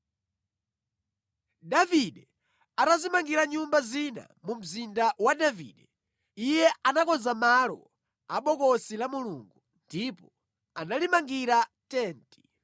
Davide atadzimangira nyumba zina mu Mzinda wa Davide, iye anakonza malo a Bokosi la Mulungu ndipo analimangira tenti.